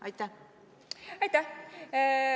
Aitäh!